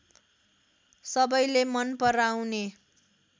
सबैले मन पराउने